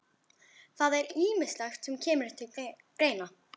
Það er ýmislegt sem kemur til greina.